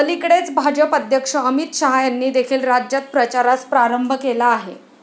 अलिकडेच भाजप अध्यक्ष अमित शाह यांनी देखील राज्यात प्रचारास प्रारंभ केला आहे.